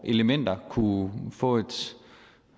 elementer kunne få